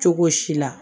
Cogo si la